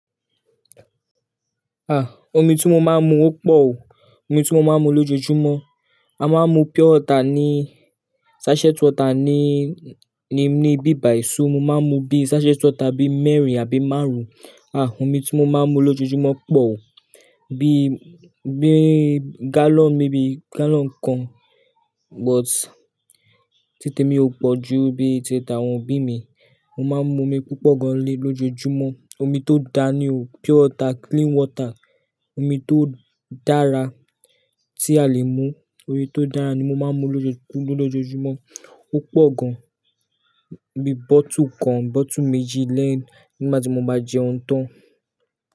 Ah! Omi tí mo máa ń mu ó pọ̀ o. Omi tí mo máa ń mu lójoojúmọ́. A máa ń mu pure water ni, sachet water ni, ni bíbàì so mo máa ń mu bí sachet water bí mẹ́rin àbí márùn-ún. Ah! Omi tí mo máa ń mu lójoojúmọ́ pọ̀ o. Bí, bí gallon, maybe gallon kan but títí èmi ò pọ̀ ju bíi tìtí àwọn òbí mi. Mo máa ń mu omi púpọ̀ gan lé lójoojúmọ́. Omi tó da ni o, pure water, clean water. Omi tó dára tí a lè mu, omi tó dára ni mo máa ń mu lójo- lójoojúmọ́. Ó pọ̀ gan, bí bottle kan, bottle méjì lẹ́yìn nígbàtí mo bá jẹun tán.